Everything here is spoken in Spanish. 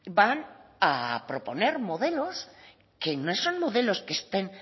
van a proponer modelos que no son modelos que estén